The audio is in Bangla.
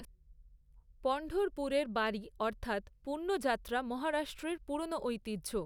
পণ্ঢরপুরের বারী অর্থাৎ পুণ্যযাত্রা মহারাষ্ট্রের পুরনো ঐতিহ্য।